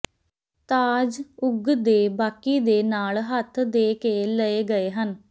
ਤਾਜ ਉਗ ਦੇ ਬਾਕੀ ਦੇ ਨਾਲ ਹੱਥ ਦੇ ਕੇ ਲਏ ਗਏ ਹਨ